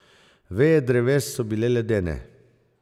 Veje dreves so bile ledene.